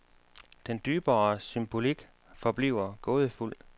Den dybere symbolik forbliver gådefuld.